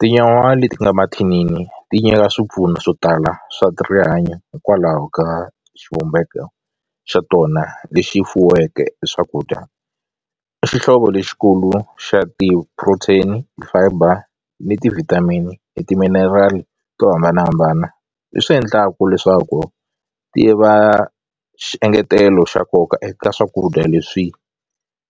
Tinyawa leti nga mathinini ti nyika swipfuno swo tala swa rihanyo hikwalaho ka xivumbeko xa tona lexi fuweke hi swakudya i xihlovo lexikulu xa ti-protein ti-fiber ni ti-vitamin ni timinerali to hambanahambana leswi endlaka leswaku ti va xiengetelo xa nkoka eka swakudya leswi